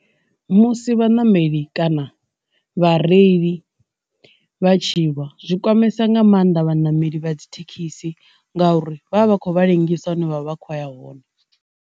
Musi vhaṋameli kana vha reili vha tshi lwa, zwi kwamesa nga maanḓa vhaṋameli vha dzi thekhisi ngauri vha vha vha kho vha ḽengisa hune vha vha kho ya hone.